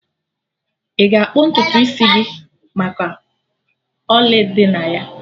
Ị ga-akpụ ntutu isi gị maka ọlị dị na ya?